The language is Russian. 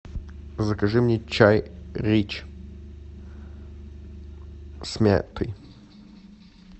закажи мне чай рич с мятой